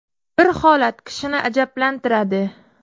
Bir holat kishini ajablantiradi.